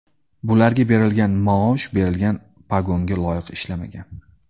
Bularga berilgan maosh, berilgan pogonga loyiq ishlamagan.